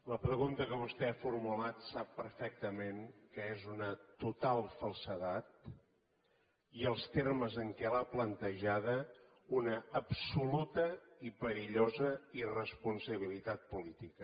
la pregunta que vostè ha formulat sap perfectament que és una total falsedat i els termes en què l’ha plantejada una absoluta i perillosa irresponsabilitat política